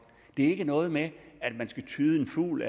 det er ikke noget med at man skal tyde en fugl